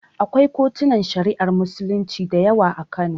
Akwai kotunan Shari'ar Musulunci da yawa a Kano.